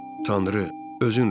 Tanrı, özün rəhm elə.